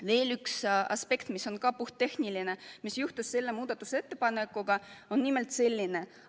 Veel üks aspekt, mis on ka puhttehniline ja puudutab seda muudatusettepanekut, on selline.